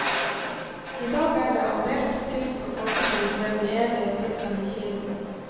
I dag er det aldeles tyst og folketomt ved den evig piplende kilden.